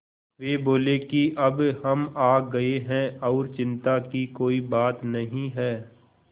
वे बोले कि अब हम आ गए हैं और चिन्ता की कोई बात नहीं है